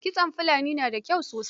Kitson Fulani na da kyau sosai.